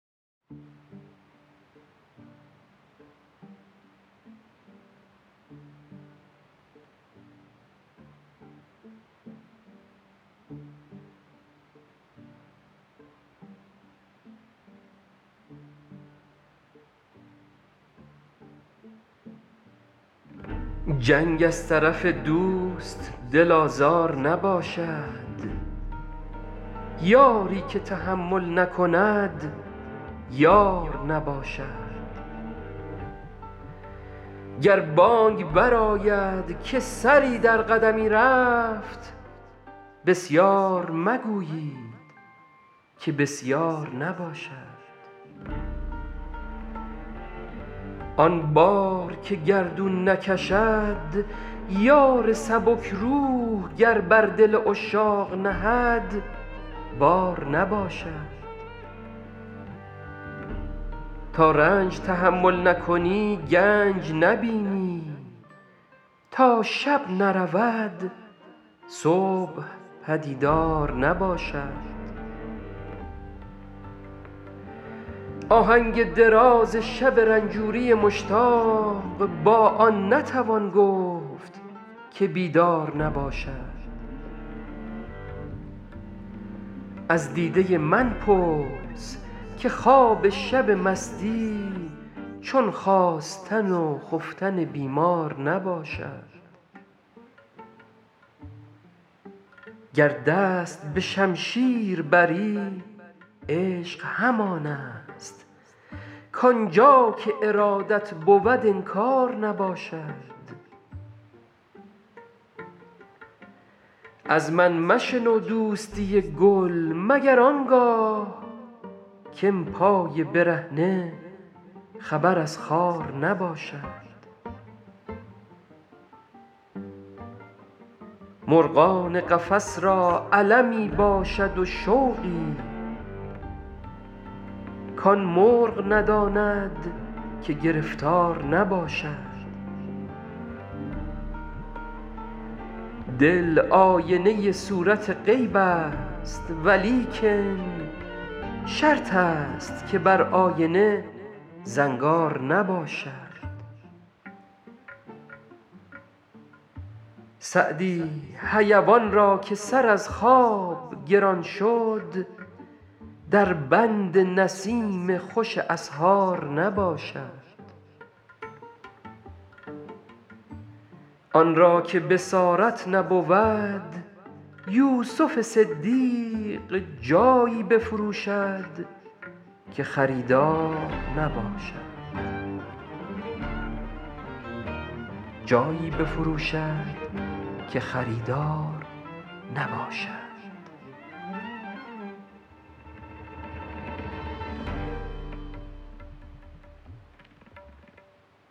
جنگ از طرف دوست دل آزار نباشد یاری که تحمل نکند یار نباشد گر بانگ برآید که سری در قدمی رفت بسیار مگویید که بسیار نباشد آن بار که گردون نکشد یار سبک روح گر بر دل عشاق نهد بار نباشد تا رنج تحمل نکنی گنج نبینی تا شب نرود صبح پدیدار نباشد آهنگ دراز شب رنجوری مشتاق با آن نتوان گفت که بیدار نباشد از دیده من پرس که خواب شب مستی چون خاستن و خفتن بیمار نباشد گر دست به شمشیر بری عشق همان است کآن جا که ارادت بود انکار نباشد از من مشنو دوستی گل مگر آن گاه که ام پای برهنه خبر از خار نباشد مرغان قفس را المی باشد و شوقی کآن مرغ نداند که گرفتار نباشد دل آینه صورت غیب است ولیکن شرط است که بر آینه زنگار نباشد سعدی حیوان را که سر از خواب گران شد در بند نسیم خوش اسحار نباشد آن را که بصارت نبود یوسف صدیق جایی بفروشد که خریدار نباشد